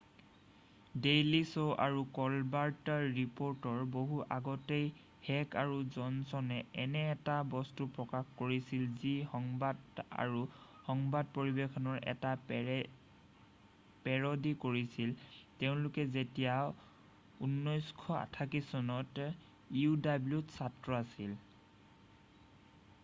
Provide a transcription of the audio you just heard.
Daily Show আৰু Colbert ৰিপ'ৰ্টৰ বহু আগতেই হেক আৰু জনচনে এনে এটা বস্তু প্ৰকাশ কৰিছিল যি সংবাদ—আৰু সংবাদ পৰিৱেশনৰ এটা পেৰডি কৰিছিল—তেওঁলোক যেতিয়া ১৯৮৮ চনত uwত ছাত্ৰ আছিল।